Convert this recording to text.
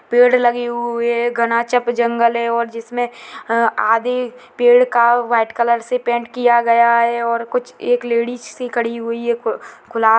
पेड़ लगे हुए है घना चप जंगल हैऔर जिसमे आधे पेड़ का वाइट कलर से पेंट किया गया है और कुछ एक लेडीज सी खड़ी हुई है खुला--